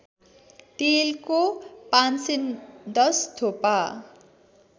तेलको ५१० थोपा